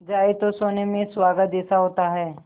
जाए तो सोने में सुहागा जैसा होता है